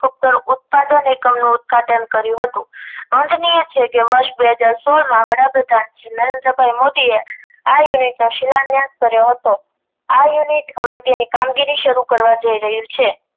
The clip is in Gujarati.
નું ઉત્પાદન કર્યું હતું બે હજાર સોળ માં વડાપ્રધાન શ્રી નરેન્દ્રભાઇ મોદીએ આ unit નો શિલાન્યાસ કર્યો હતો આ unit હવે તેની કામગીરી શરૂ કરવા જય રહ્યું છે